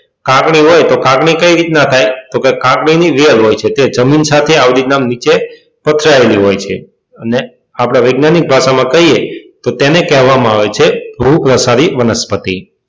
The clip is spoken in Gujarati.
કાકડી હોય તો કાકડી કઈ રીતના થાય તો કે કાકડી ની વેલ હોય છે જે જમીન સાથે આવી રીતના નીચે પથરાયેલી હોય છે અને આપણે વૈજ્ઞાનિક ભાષામાં કહીએ તો તેને કહેવામાં આવે છે ભૂ પ્રસારી વનસ્પતિ.